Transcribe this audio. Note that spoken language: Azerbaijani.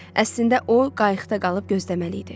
Əslində o, qayıqda qalıb gözləməli idi.